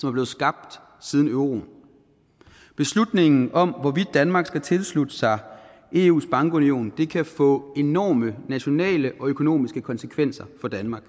er blevet skabt siden euroen beslutningen om hvorvidt danmark skal tilslutte sig eus bankunion kan få enorme nationale og økonomiske konsekvenser for danmark